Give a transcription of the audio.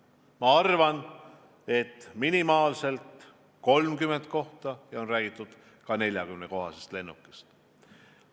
Ma arvan, et minimaalselt võiks olla 30 kohta ja on räägitud ka 40-kohalisest lennukist.